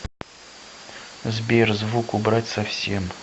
сбер звук убрать совсем